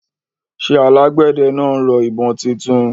ṣé alágbẹ̀dẹ náà rọ ìbọn títún